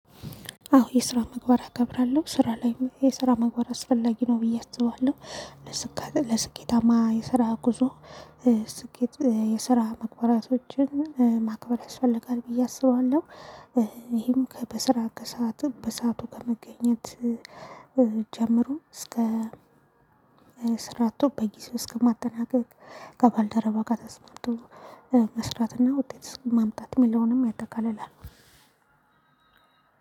አዎ የስራ ምግባር አከብራለሁ ስራ ላይም የስራ ምግባር አስፈላጊ ነው ብዬ አስባለሁ። ለስኬታማ የስራ ጉዞ ስኬት የስራ ምግባራቶችን ማክበር ያስፈልጋል ብዬ አስባለሁ። ይሄም ከበስራ ከሰአቱ በሰአቱ ከመገኘት ጀምሮ እስከ ስራ በጊዜው እስከማጠናቀቅ ከባልደረባ ጋር ተስማምቶ መስራትና ውጤት ማምጣት የሚለውንም ያጠቃልላል።